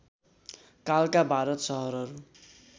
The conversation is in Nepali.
कालका भारतका सहरहरू